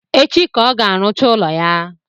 Echi ka ọ ga-arụcha ụlọ ya